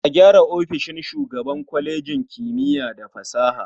A gyara ofishin shugaban kwalejin kimiya da fasaha.